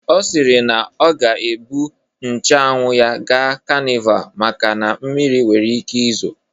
Ọ siri na ọ ga-ebu nche anwụ ya gaa kanival maka na mmiri nwere ike izo